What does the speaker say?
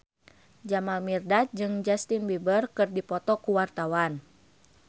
Jamal Mirdad jeung Justin Beiber keur dipoto ku wartawan